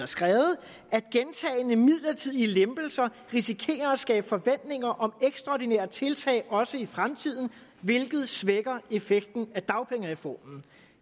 skrevet at gentagne midlertidige lempelser risikerer at skabe forventninger om ekstraordinære tiltag også i fremtiden hvilket svækker effekten af dagpengereformen